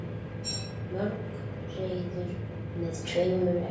Mörg hreiður með tveimur eggjum.